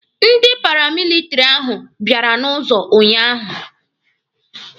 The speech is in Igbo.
Ndị paramilitiri ahụ bịara n'ụzọ unyaahụ.